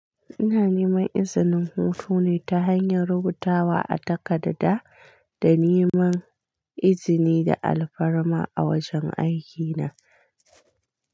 Ina neman izinin hutu ne ta hanyar rubutawa a takarda da neman izini da alfarma a wajen aiki na.